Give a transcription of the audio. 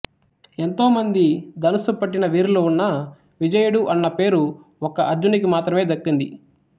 ఎంతో మంది ధనుస్సు పట్టిన వీరులు ఉన్నా విజయుడు అన్న పేరు ఒక్క అర్జునినికి మాత్రమే దక్కింది